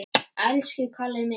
Elsku Kalli minn!